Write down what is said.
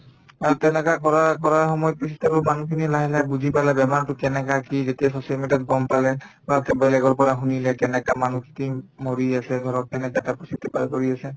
আৰু তেনেকা কৰাৰ‍‍ কৰা সময়ৰ পিছত আৰু মানুহখিনিয়ে লাহে লাহে বুজি পালে বেমাৰটো কেনেকা কি যেতিয়া social media ত গম পালে তাতে বেলেগৰ পৰা শুনিলে কেনেকা মানুহ মৰি আছে ঘৰত কেনেকা এটা পৰিস্থিতি পাৰ কৰি আছে